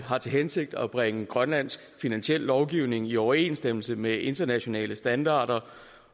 har til hensigt at bringe grønlandsk finansiel lovgivning i overensstemmelse med internationale standarder